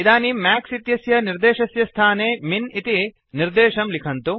इदानीं मैक्स इत्यस्य निर्देशस्य स्थाने मिन् इति निर्देशं लिखन्तु